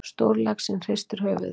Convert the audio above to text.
Stórlaxinn hristir höfuðið.